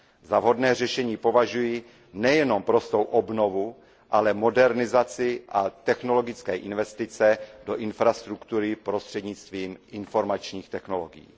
Za vhodné řešení považuji nejenom prostou obnovu, ale také modernizaci a technologické investice do infrastruktury prostřednictvím informačních technologií.